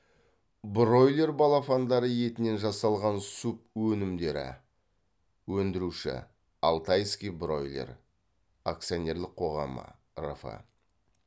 бройлер балапандары етінен жасалған субөнімдері өндіруші алтайский бройлер акционерлік қоғамы рф